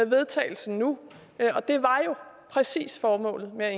vedtagelse nu og det var jo præcis formålet med at